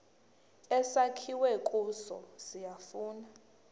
esakhiwe kuso siyafana